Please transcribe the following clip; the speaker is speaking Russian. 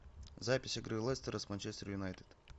запись игры лестера с манчестер юнайтед